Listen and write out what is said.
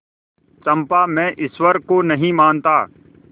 चंपा मैं ईश्वर को नहीं मानता